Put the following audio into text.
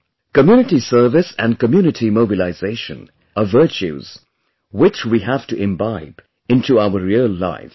Community service and community mobilization are virtues which we have to imbibe into our real lives